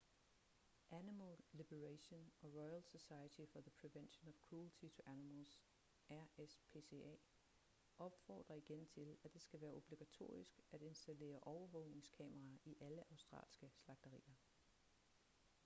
animal liberation og royal society for the prevention of cruelty to animals rspca opfordrer igen til at det skal være obligatorisk at installere overvågningskameraer i alle australske slagterier